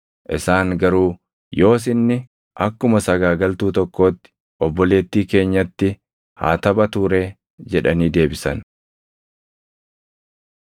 Isaan garuu, “Yoos inni akkuma sagaagaltuu tokkootti obboleettii keenyatti haa taphatuu ree?” jedhanii deebisan.